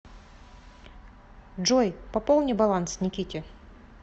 джой пополни баланс никите